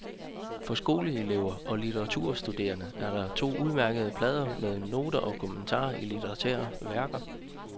For skoleelever og litteraturstuderende er der to udmærkede plader med noter og kommentarer til litterære værker.